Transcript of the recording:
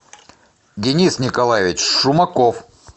денис николаевич шумаков